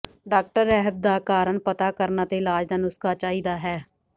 doctor ਰਹਿਤ ਦਾ ਕਾਰਨ ਪਤਾ ਕਰਨ ਅਤੇ ਇਲਾਜ ਦਾ ਨੁਸਖ਼ਾ ਚਾਹੀਦਾ ਹੈ